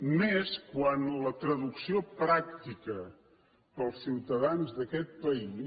i més quan la traducció pràctica per als ciutadans d’aquest país